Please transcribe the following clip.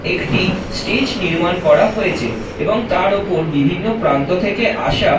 একটি স্টেজ নির্মাণ করা হয়েছে এবং তার ওপর বিভিন্ন প্রান্ত থেকে আসা--